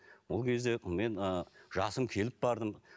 ол кезде мен ы жасым келіп бардым